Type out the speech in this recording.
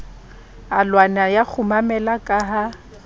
alwana ya kgumamela ka ha